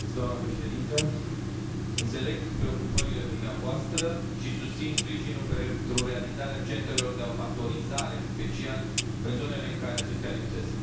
Doamnă președintă, înțeleg preocupările dumneavoastră și susțin sprijinul pentru realizarea centrelor de abatorizare în special, în zonele în care acestea lipsesc.